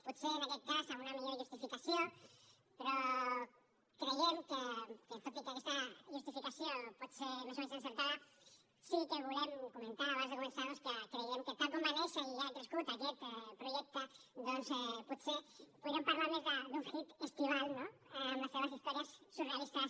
potser en aquest cas amb una millor justificació però tot i que aquesta justificació pot ser més o menys encertada sí que volem comentar abans de començar que creiem que tal com va néixer i ha crescut aquest projecte potser podríem parlar més d’un hit estiuenc no amb les seves històries surrealistes